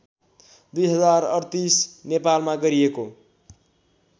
२०३८ नेपालमा गरिएको